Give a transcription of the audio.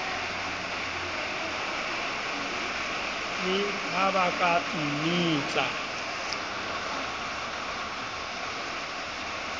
le ha ba ka mmitsa